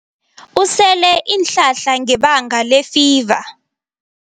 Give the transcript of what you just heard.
Usele iinhlahla ngebanga lefiva.